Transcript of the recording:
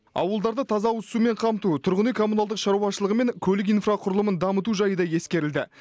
ауылдарды таза ауызсумен қамту тұрғын үй коммуналдық шаруашылығы мен көлік инфрақұрылымын дамыту жайы да ескерілді